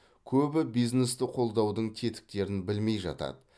көбі бизнесті қолдаудың тетіктерін білмей жатады